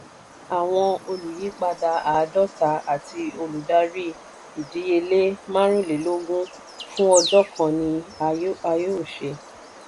àwọn olùyípadà àádọ́ta àti olùdarí ìdíyelé márùúnlélógún fún ọjọ́ kan ni a yóò ṣe.